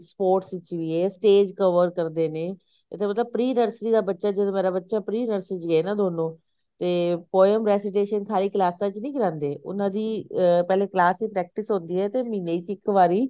sports ਵਿੱਚ ਵੀ ਐ stage cover ਕਰਦੇ ਨੇ ਇਹਦਾ ਮਤਲਬ pre nursery ਦਾ ਬੱਚਾ ਜਦੋਂ ਮੇਰੇ ਬੱਚੇ pre nursery ਚ ਗਏ ਨੇ ਦੋਨੋ ਤੇ poem ਸਾਰੀ ਕਲਾਸਾਂ ਚ ਨੀ ਕਰਾਂਦੇ ਉਹਨਾ ਦੀ ਪਹਿਲੇ class ਵਿੱਚ practice ਹੁੰਦੀ ਐ ਤੇ ਮਹੀਨੇ ਚ ਇੱਕ ਵਾਰੀ